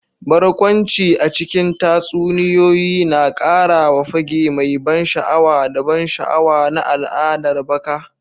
Barkwanci a cikin tatsuniyoyi na ƙara wa fage mai ban sha'awa da ban sha'awa na al'adar baka.